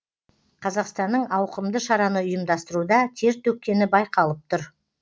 қазақстанның ауқымды шараны ұйымдастыруда тер төккені байқалып тұр